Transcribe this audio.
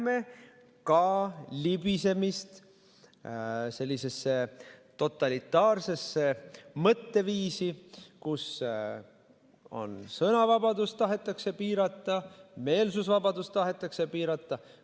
Me näeme libisemist totalitaarsesse mõtteviisi, kus sõnavabadust tahetakse piirata, meelsusvabadust tahetakse piirata.